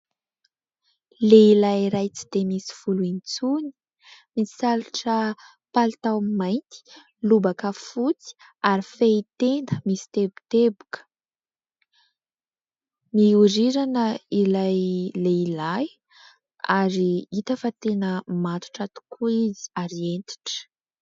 Lehilahy iray tsy dia misy volo intsony, misalotra palitao mainty, lobaka fotsy ary fehitenda misy teboteboka. Mihorirana ilay lehilahy ary hita fa tena matotra tokoa izy ary hentitra.